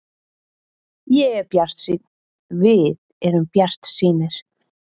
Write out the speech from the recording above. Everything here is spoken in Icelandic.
Ég er bjartsýnn, við erum bjartsýnir.